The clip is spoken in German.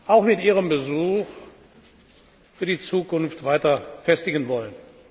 auch mit Ihrem Besuch für die Zukunft weiter festigen wollen.